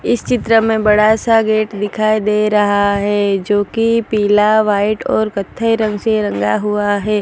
इस चित्र में बड़ा सा गेट दिखाई दे रहा है जो की पीला व्हाइट और कत्थई रंग से रंगा हुआ है।